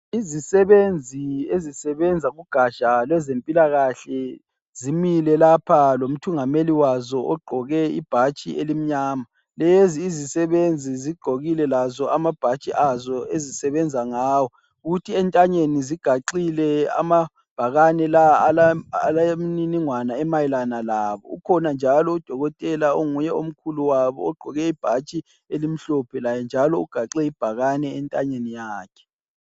Izisebenzi ezisebenza kugatsha lwezempilakahle zimile lapha lomthungameli wazo ogqoke ibhatshi elimnyama. Lezi izisebenzi zigqokile lazo amabhatshi azo ezisebenza ngawo. Kuthi entanyeni zigaxile amabhakane. Amabhakane la alemininingwane lawo. Ukhona njalo udokotela onguye omkhulu wabo ugqoke ibhatshi elimhlophe laye ugaxe ibhakane entanyeni yakhe.